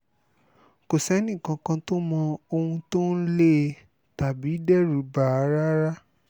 kò sẹ́nìkànkàn tó mọ ohun tó ń lé e tàbí dẹ́rù bà á rárá